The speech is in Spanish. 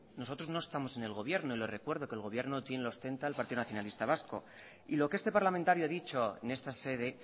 nosotros no estamos en el gobierno y le recuerdo que el gobierno quien lo ostenta el partido nacionalista vasco y lo que este parlamentario ha dicho en esta sede